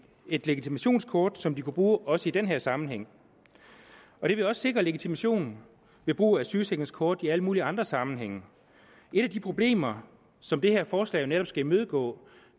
et legitimationskort som de kunne bruge også i den her sammenhæng det ville også sikre legitimation ved brug af sygesikringskort i alle mulige andre sammenhænge et af de problemer som det her forslag netop skal imødegå